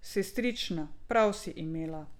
Sestrična, prav si imela!